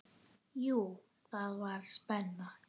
Jú, það var spenna.